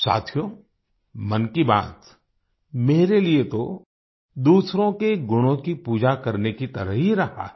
साथियो मन की बात मेरे लिए तो दूसरों के गुणों की पूजा करने की तरह ही रहा है